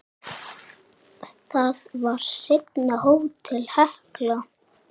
Það var seinna Hótel Hekla.